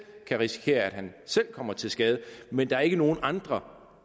kan risikere at han selv kommer til skade men der er ikke nogen andre